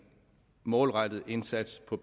målrettet indsats på